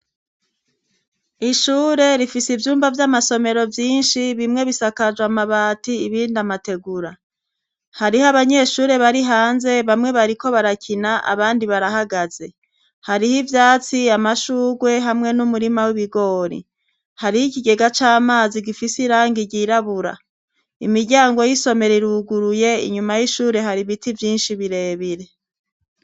Ishure rifise ivyumba vy'amasomero vyinshi bimwe bisakajwe amabati ibindi amategura . Hariho abanyeshure bari hanze, bamwe bariko barakina abandi barahagaze. Hariho ivyatsi amashurwe hamwe n'umurima w'ibigori. Hariho ikigega c'amazi gifise irangi ryirabura. Imiryango y'isomero iruguruye inyuma y'ishure hari biti vyinshi birebire.